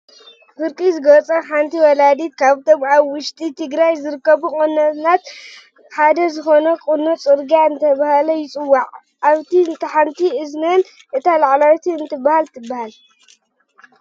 ፍርቂ ዝገፃ ሓንቲ ወላዲት ካብቶም ኣብ ውሽጢ ትገራይ ካብ ዝርከቡ ቆኖታት ሓደ ዝኮነ ቁኖ ፅርግያ እናተባህለ ይፅውዓ። ኣብታ ሓንቲ እዝነን እታ ላዕለወይቲ እንታይ ትብሃል?